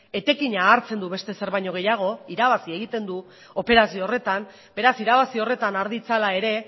etekina hartzen du beste ezer baino gehiago irabazi egiten du operazio horretan beraz irabazi horretan har ditzala ere